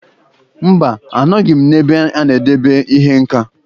Mba, anọghị m n'ebe a na-edebe ihe nka.